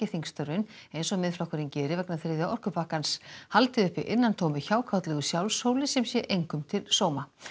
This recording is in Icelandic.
þingstörfin eins og Miðflokkurinn geri vegna þriðja orkupakkans haldi uppi innantómu hjákátlegu sjálfshóli sem sé engum til sóma